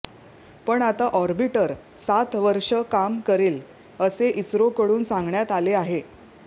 पण आता ऑर्बिटर सात वर्ष काम करेल असे इस्रोकडून सांगण्यात आले आहे